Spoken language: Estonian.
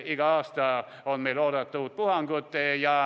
Igal aastal on meil oodata uut puhangut.